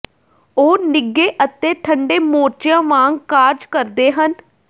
ਉਹ ਨਿੱਘੇ ਅਤੇ ਠੰਡੇ ਮੋਰਚਿਆਂ ਵਾਂਗ ਕਾਰਜ ਕਰਦੇ ਹਨ